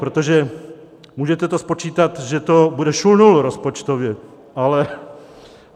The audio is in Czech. Protože můžete to spočítat, že to bude šulnul rozpočtově.